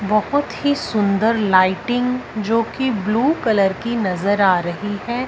बहोत ही सुंदर लाइटिंग जो की ब्लू कलर की नजर आ रही है।